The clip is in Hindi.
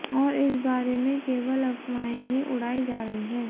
और इस बारे में केवल अफवाहें ही उड़ाई जा रही है